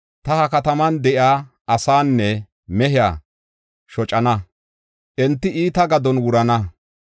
Ta ha kataman de7iya asaanne mehiya shocana; enti iita gadon wurana.